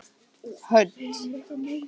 Hödd